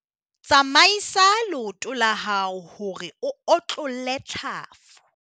tsamaisa leoto la hao hore o otlolle tlhafu.